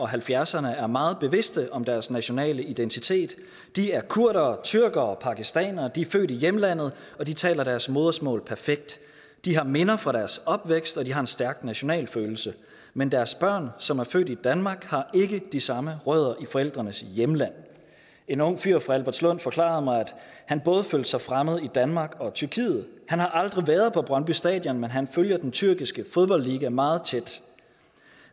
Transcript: halvfjerdserne er meget bevidste om deres nationale identitet de er kurdere tyrkere og pakistanere de er født i hjemlandet og de taler deres modersmål perfekt de har minder fra deres opvækst og de har en stærk nationalfølelse men deres børn som er født i danmark har ikke de samme rødder i forældrenes hjemland en ung fyr fra albertslund forklarede mig at han både følte sig fremmed i danmark og tyrkiet han har aldrig været på brøndby stadion men han følger den tyrkiske fodboldliga meget tæt